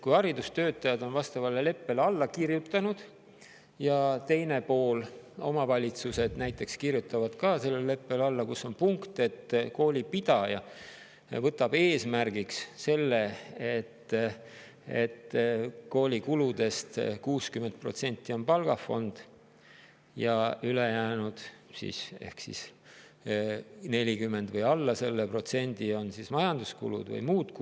Kui haridustöötajad on vastavale leppele alla kirjutanud ja teine pool, omavalitsused, kirjutavad ka alla leppele, kus on punkt, et koolipidaja võtab eesmärgiks selle, et koolikuludest 60% on palgafond ja ülejäänud ehk siis 40% või alla selle on majanduskulud või muud kulud, siis [mis saab?